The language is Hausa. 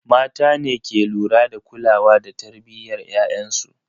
Mata ne ke lura da kulawa da tarbiyyar ‘ya’yansu.